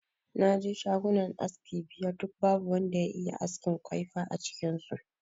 Na je shagunan aski biyar duk babu wanda ya iya askin kwaifa a cikin su